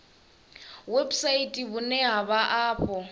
website vhune ha vha afho